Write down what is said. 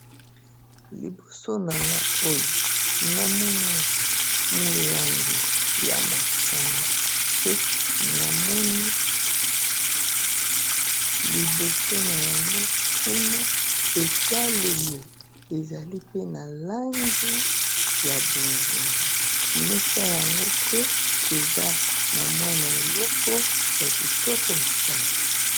Liboso nanga oyo namoni molangi ya masanga pe namoni liboso na yango kuna etalelo ezali pe na langi ya bozinga mesa yango pe eza na mwana eloko ya kitoko makasi